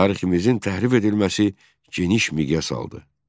Tariximizin təhrif edilməsi geniş miqyas aldı.